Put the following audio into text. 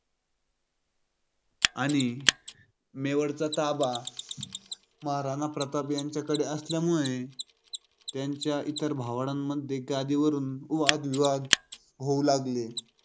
आणि मेवाडचा ताबा महाराणा प्रताप यांच्याकडे असल्यामुळे त्यांच्या इतर भावंडांमध्ये गादीवरून वाद-विवाद होऊ लागले होते.